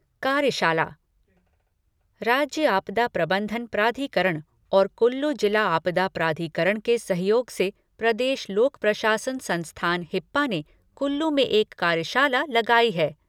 कार्यशाला राज्य आपदा प्रबंधन प्राधिकरण और कुल्लू जिला आपदा प्राधिकरण के सहयोग से प्रदेश लोक प्रशासन संस्थान हिप्पा ने कुल्लू में एक कार्यशाला लगाई है।